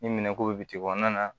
Ni minɛn ko bi kɔnɔna na